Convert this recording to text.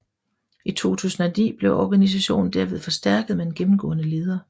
I 2009 blev organisationen derved forstærket med en gennemgående leder